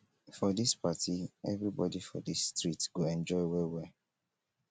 for dis party everybodi for dis street go enjoy well well.